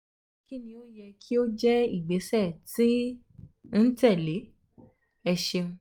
kini o yẹ ki o jẹ igbesẹ ti n tẹle? o ṣeun